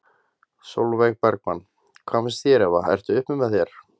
Sólveig Bergmann: Hvað finnst þér Eva ertu uppi með þér?